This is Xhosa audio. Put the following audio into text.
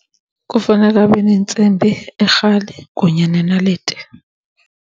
Kufanele abe neentsimbi, irhali kunye nenaliti.